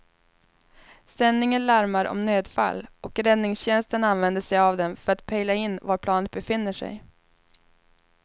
Sändningen larmar om nödfall och räddningstjänsten använder sig av den för att pejla in var planet befinner sig.